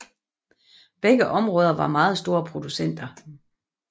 Begge områder var meget store producenter